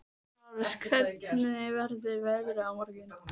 Lárus, hvernig verður veðrið á morgun?